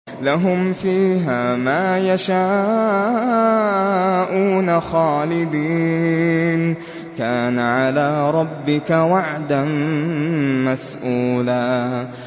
لَّهُمْ فِيهَا مَا يَشَاءُونَ خَالِدِينَ ۚ كَانَ عَلَىٰ رَبِّكَ وَعْدًا مَّسْئُولًا